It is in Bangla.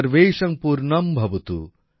সর্বেষাং পূর্ণম্ভবতু